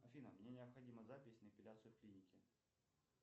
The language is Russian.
афина мне необходима запись на эпиляцию в клинике